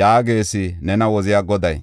yaagees nena woziya Goday.